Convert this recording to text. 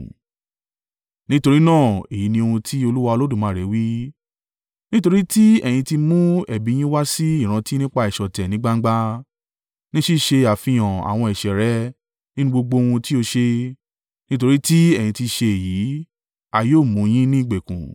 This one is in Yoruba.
“Nítorí náà èyí ní ohun tí Olúwa Olódùmarè wí: ‘Nítorí ti ẹ̀yin ti mú ẹ̀bi yín wá sí ìrántí nípa ìṣọ̀tẹ̀ ní gbangba, ní ṣíṣe àfihàn àwọn ẹ̀ṣẹ̀ rẹ nínú gbogbo ohun tí ó ṣe, nítorí tí ẹ̀yin ti ṣe èyí, a yóò mú yín ní ìgbèkùn.